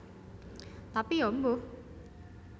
Tapi Ya mbuh